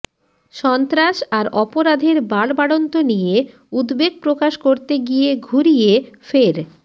সন্ত্রাস আর অপরাধের বাড়বাড়ন্ত নিয়ে উদ্বেগ প্রকাশ করতে গিয়ে ঘুরিয়ে ফের